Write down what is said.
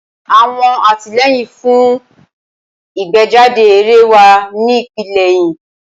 Awọn atilẹyin fun igbejade eré wa ni ipele ẹhin.